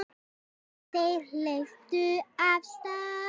Þeir hlupu af stað.